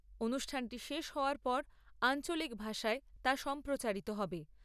অনুষ্ঠানটি শেষ হওয়ার পর আঞ্চলিক ভাষায় তা সম্প্রচারিত হবে।